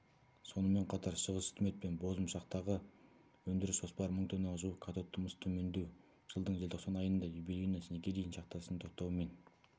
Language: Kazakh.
сонымен қатар шығыстүстімет пен бозымшақтағы өндіріс жоспары мың тоннаға жуық катодты мыс төмендеу жылдың желтоқсан айында юбилейно снегирихин шахтасының тоқтауы мен